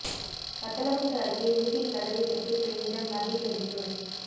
வத்தலகுண்டு அருகே வீட்டின் கதவைத் தட்டி பெண்ணிடம் நகைபறிப்பு